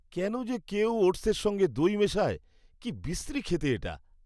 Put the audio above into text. কেন যে কেউ ওটসের সঙ্গে দই মেশায়? কি বিশ্রী খেতে এটা।